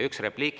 Üks repliik.